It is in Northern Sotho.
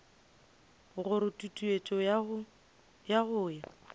gore tutuetšo ya go ya